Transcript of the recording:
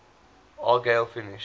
argyle finished